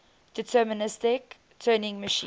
deterministic turing machine